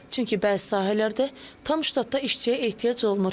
Çünki bəzi sahələrdə tam ştatda işçiyə ehtiyac olmur.